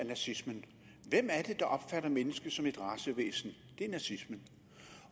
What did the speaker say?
nazismen hvem er det der opfatter mennesket som et racevæsen det er nazismen